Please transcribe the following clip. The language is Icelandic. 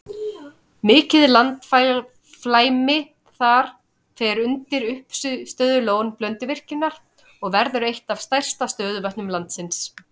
Mikið landflæmi þar fer undir uppistöðulón Blönduvirkjunar og verður eitt af stærstu stöðuvötnum landsins.